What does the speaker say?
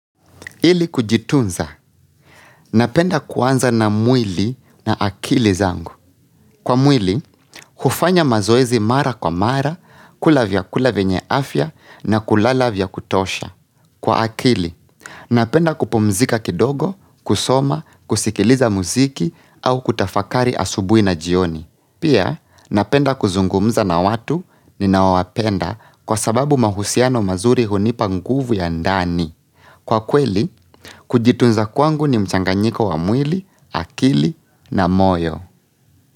Ili kujitunza. Napenda kuanza na mwili na akili zangu. Kwa mwili, hufanya mazoezi mara kwa mara, kula vyakula vyenye afya na kulala vya kutosha. Kwa akili, napenda kupumzika kidogo, kusoma, kusikiliza muziki au kutafakari asubuhi na jioni. Pia, napenda kuzungumza na watu ninaowapenda kwa sababu mahusiano mazuri hunipa nguvu ya ndani. Kwa kweli, kujitunza kwangu ni mchanganyiko wa mwili, akili na moyo.